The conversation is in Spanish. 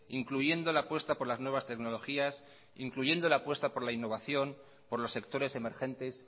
incluyendo la apuesta por las nuevas tecnologías incluyendo la apuesta por la innovación por los sectores emergentes